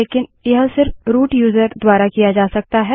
लेकिन यह सिर्फ रूट यूज़र द्वारा किया जा सकता है